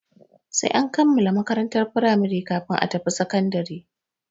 Sai an kammala makarantar firamari kafin a tafi sakandare.